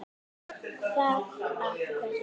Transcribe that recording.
Hvað af hverju?